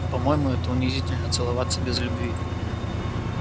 по-моему это унизительно целоваться без любви